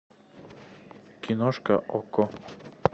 киношка окко